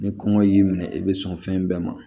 Ni kɔngɔ y'i minɛ i bɛ sɔn fɛn bɛɛ ma